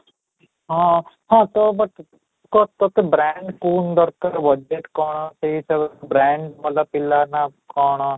ହଁ, ହଁ, ତ but କହ ତୋତେ brand ଦରକାର budge କଣ ସେଇ ହିସାବରେ brand ଵାଲା ପିଲା ନା କ'ଣ?